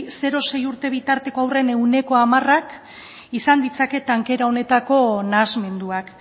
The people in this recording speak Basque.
zero sei urte bitarteko haurren ehuneko hamarak izan ditzake tankera honetako nahasmenduak